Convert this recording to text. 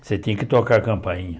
Você tinha que tocar a campainha.